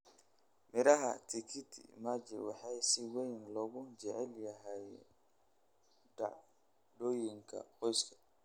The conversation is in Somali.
Miraha tikiti maji waxay si weyn loogu jecel yahay dhacdooyinka qoyska.